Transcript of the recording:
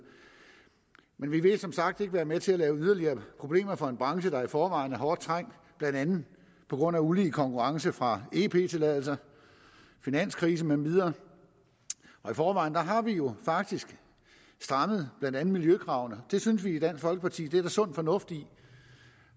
men vi vil som sagt ikke være med til at skabe yderligere problemer for en branche der i forvejen er hårdt trængt blandt andet på grund af ulige konkurrence fra ep tilladelser finanskrise med videre i forvejen har vi jo faktisk strammet blandt andet miljøkravene det synes vi i dansk folkeparti der er sund fornuft i